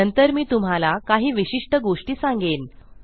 नंतर मी तुम्हाला काही विशिष्ट गोष्टी सांगेन